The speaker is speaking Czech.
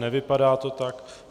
Nevypadá to tak.